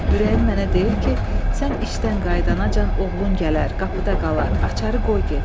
Ürəyim mənə deyir ki, sən işdən qayıdanacan oğlun gələr, qapıda qalar, açarı qoy get.